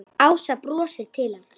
Ása brosir til hans.